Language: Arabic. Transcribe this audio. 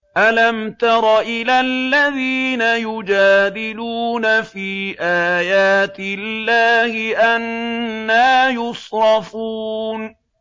أَلَمْ تَرَ إِلَى الَّذِينَ يُجَادِلُونَ فِي آيَاتِ اللَّهِ أَنَّىٰ يُصْرَفُونَ